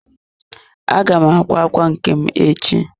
Aga m akwa ákwà nke m echi.